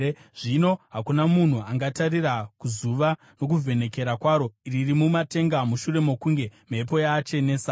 Zvino hakuna munhu angatarira kuzuva, nokuvhenekera kwaro riri mumatenga, mushure mokunge mhepo yaachenesa.